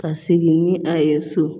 Ka segin ni a ye so